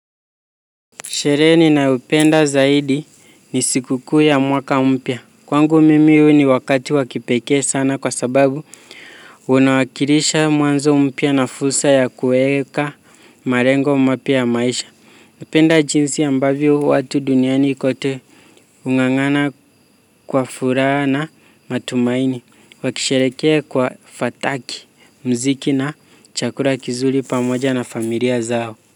Sherehe ninayopenda zaidi ni sikukuu ya mwaka mpya. Kwangu mimi huu ni wakati wa kipekee sana kwa sababu. Unawakirisha mwanzo mpya na fursa ya kueka marengo mapya maisha. Hupenda jinsi ambavyo watu duniani kote. Hung'ang'ana kwa furaha na matumaini. Wakisherekea kwa fataki, mziki na chakura kizuli pamoja na familia zao.